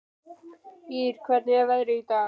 Ýr, hvernig er veðrið í dag?